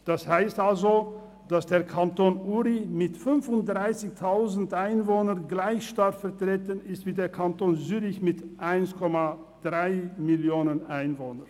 Das heisst also, dass der Kanton Uri mit 35 000 Einwohnern gleich stark vertreten ist wie der Kanton Zürich mit 1,3 Mio. Einwohnern.